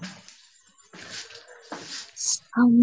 ଆମେ